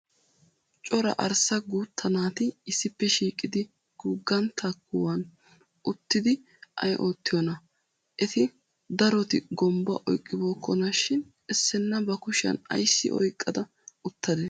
cora arssa guutta naati issippe shiiqidi guugantta kuwan uttidi ayi oottiyoonaa? Eta daroti gombbuwaa oyiqqibookkonashin issinna bakushiyan ayssi oyiqqada uttadee?